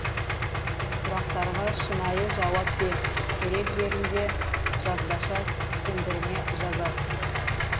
сұрақтарға шынайы жауап бер керек жерінде жазбаша түсіндірме жазасың